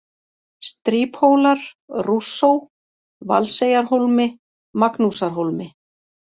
Stríphólar, Rússó, Valseyjarhólmi, Magnúsarhólmi